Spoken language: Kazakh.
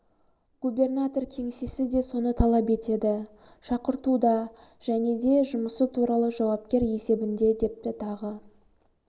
губернатор кеңсесі де соны талап етеді шақыртуда және де жұмысы туралы жауапкер есебінде депті тағы